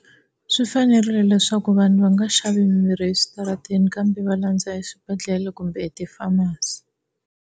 Swi fanerile leswaku vanhu va nga xavi mimirhi eswitarateni kambe va landza swibedhlele kumbe ti-pharmacy.